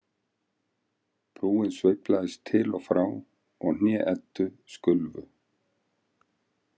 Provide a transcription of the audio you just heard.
Brúin sveiflaðist til og frá og hné Eddu skulfu.